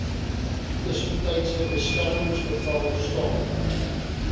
tussentydse beskermingsbevel staan